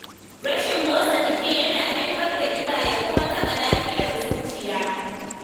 Rashin motsa jiki yana haifar da ƙiba ya kuma taɓa lafiyar zuciya.